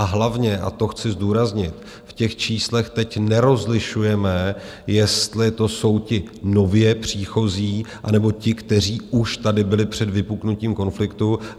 A hlavně, a to chci zdůraznit, v těch číslech teď nerozlišujeme, jestli to jsou ti nově příchozí, anebo ti, kteří už tady byli před vypuknutím konfliktu.